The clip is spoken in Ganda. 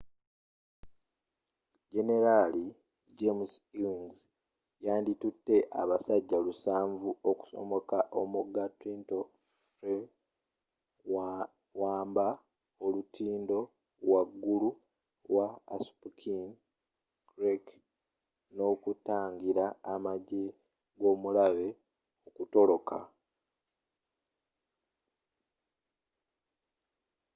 generali james ewing yandi tutte abajaasi lusanvu 700 okusomoka omugga trenton ferry wamba olutindo waggulu wa assunpink creek n’okutangira amajje g’omulabe okutoloka